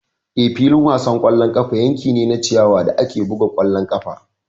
Eh, filin wasan ƙwallon ƙafa yanki ne na ciyawa da ake buga ƙwallon ƙafa.